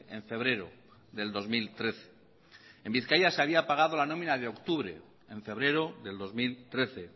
en febrero del dos mil trece en bizkaia se había pagado la nómina de octubre en febrero del dos mil trece